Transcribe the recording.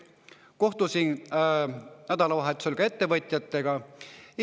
Kohtusin nädalavahetusel ettevõtjatega.